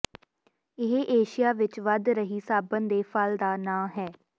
ਇਹ ਏਸ਼ੀਆ ਵਿੱਚ ਵਧ ਰਹੀ ਸਾਬਣ ਦੇ ਫਲ ਦਾ ਨਾਂ ਹੈ